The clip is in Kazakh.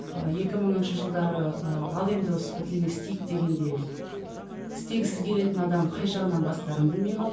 ы екі мыңыншы жылдары ыыы ал енді осы бірдеңе істейік дегенде істегісі келетін адам қай жағынан бастарын білмей